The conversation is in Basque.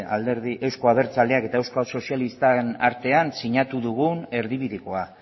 euzko abertzaleak eta euskal sozialistak artean sinatu dugun erdibidekoa